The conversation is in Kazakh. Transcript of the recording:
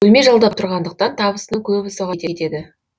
бөлме жалдап тұрғандықтан табысының көбі соған кетеді